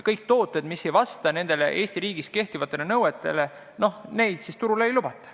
Tooteid, mis ei vasta Eesti riigis kehtivatele nõutele, turule ei lubata.